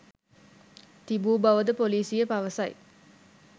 තිබූ බවද පොලිසිය පවසයි.